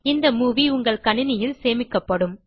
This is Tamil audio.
இந்த மூவி உங்கள் கணினியில் சேமிக்கப்படும்